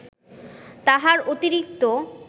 তাহার অতিরিক্ত